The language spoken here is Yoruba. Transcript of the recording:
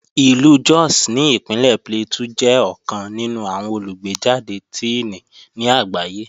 Ìlú Jos ní Ìpínlẹ̀ Plateau jẹ́ ọ̀kan nínú àwọn olùgbéjàde Tíìnì ní àgbáyé